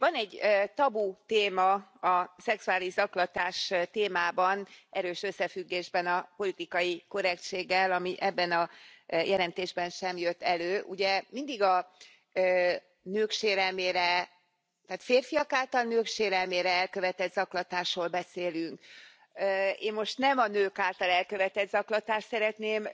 Van egy tabutéma a szexuális zaklatás témában erős összefüggésben a politikai korrektséggel, ami ebben a jelentésben sem jött elő. Ugye, mindig a nők sérelmére, tehát férfiak által nők sérelmére elkövetett zaklatásról beszélünk. Én most nem a nők által elkövetett zaklatást szeretném